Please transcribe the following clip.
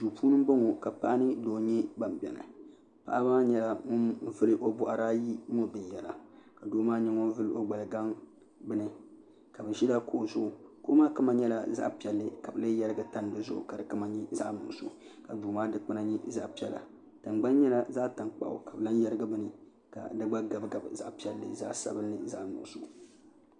duu puuni ni n bɔŋɔ ka paɣa mini doo nyɛ ban biɛni paɣa maa nyɛla ŋun vuli o boɣari ayi ŋɔ binyɛra ka doo maa nyɛ ŋun vuli o gbali gaŋ ka bi ʒila kuɣu zuɣu kuɣu maa nyɛla zaɣ piɛlli ka bi lee yɛrigi tani dizuɣu ka di kama nyɛ zaɣ nuɣso ka duu maa dikpuna nyɛ zaɣ piɛla tingbani nyɛla zaɣ tankpaɣu ka bi lahi yɛrigi bini ka di gba gabi gabi zaɣ piɛlli zaɣ nuɣso